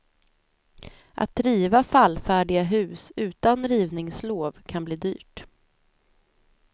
Att riva fallfärdiga hus utan rivningslov kan bli dyrt.